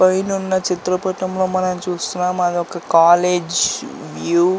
పైనున్న చిత్రపటంలో మనం చూస్తున్నాము పౌడర్ అది ఒక కాలేజ్ వ్యూ .